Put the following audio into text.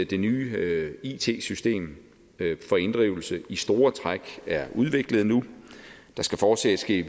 det nye it system for inddrivelse i store træk er udviklet nu der skal fortsat ske